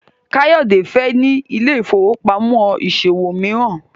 Kayode fè ní Ile-ifowopamọ ìṣòwò míràn.